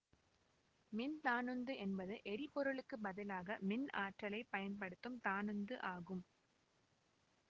மின் தானுந்து என்பது எரிபொருளுக்கு பதிலாக மின் ஆற்றலை பயன்படுத்தும் தானுந்து ஆகும்